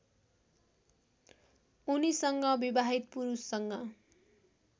उनीसँग विवाहित पुरुषसँग